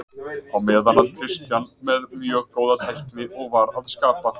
Á meðan var Christian með mjög góða tækni og var að skapa.